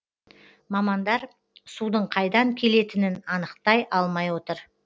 мамандар судың қайдан келетінін анықтай алмай отыр